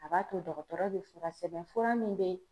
A b'a to dɔgɔtɔrɔ be fura sɛbɛn fura min be